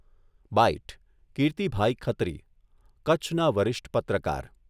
byte, Kirtibhai Khatri, કચ્છના વરિષ્ઠ પત્રકાર